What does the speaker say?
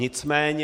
Nicméně...